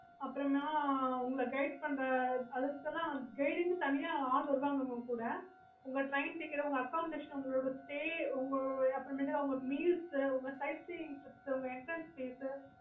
okayokay